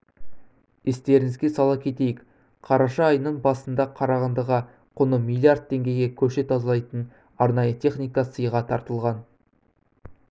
естеріңізге сала кетейік қараша айының басында қарағандыға құны миллиард теңгеге көше тазалайтын арнайы техника сыйға тартылған